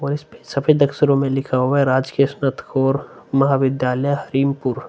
और इस पे सफ़ेद अक्षरो में लिखा हुवा है। राज्यकीय महाविद्यालय हरिमपुर ।